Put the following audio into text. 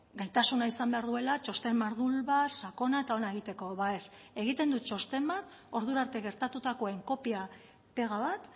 gaitasuna izan behar duela txosten mardul bat sakona eta ona egiteko ba ez egiten du txosten bat ordurarte gertatutakoen kopia pega bat